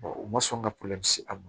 u ma sɔn ka a ma